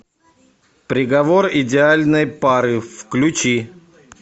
приговор идеальной пары включи